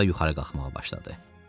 Asta-asta yuxarı qalxmağa başladı.